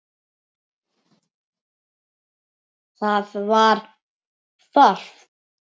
Það var þarft.